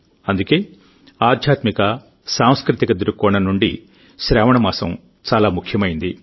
అందుకేఆధ్యాత్మిక సాంస్కృతిక దృక్కోణం నుండి శ్రావణ మాసం చాలా ముఖ్యమైంది